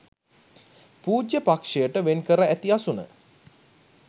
පූජ්‍ය පක්ෂයට වෙන්කර ඇති අසුන